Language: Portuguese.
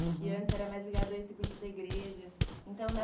uhum. E antes era mais ligado a esse grupo da igreja. Então